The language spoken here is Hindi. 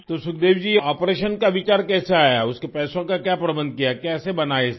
तो सुखदेवी जी आपरेशन का विचार कैसे आया उसके पैसों का क्या प्रबंधन किया कैसे बना ये सब